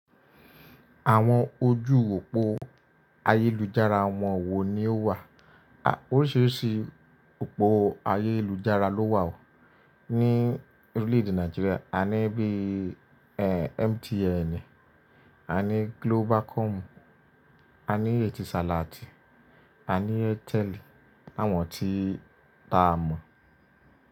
Àwọn ojú òpó ayélujára wọ́n wo ni o wà? Oríṣiríṣi òpó ayélujára ló wà ní orílẹ̀ èdè Nàìjíríà, a ní bíi MTN, a ní Globacom, a ní Etisalat, a ní Airtel àwọn tí a mọ̀.